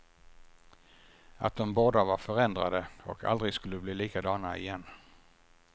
Att de båda var förändrade, och aldrig skulle bli likadana igen.